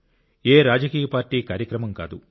ఏ రాజకీయ పార్టీ కార్యక్రమం కాదు